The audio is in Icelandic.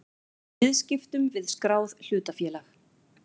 í viðskiptum við skráð hlutafélag.